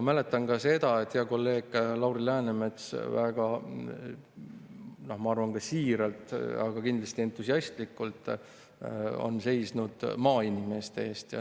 Mäletan ka seda, et hea kolleeg Lauri Läänemets on, ma arvan, väga siiralt ja kindlasti entusiastlikult seisnud maainimeste eest.